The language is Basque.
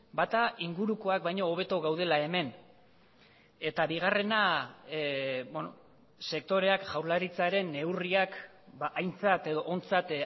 bata ingurukoak baino hobeto gaudela hemen eta bigarrena sektoreak jaurlaritzaren neurriak aintzat edo ontzat